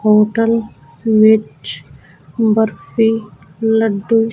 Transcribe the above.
hotel ਵਿੱਚ ਬਰਫੀ ਲੱਡੂ--